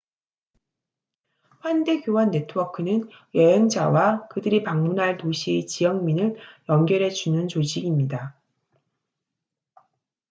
환대 교환 네트워크는 여행자와 그들이 방문할 도시의 지역민을 연결해주는 조직입니다